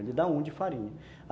Ele dá um de farinha.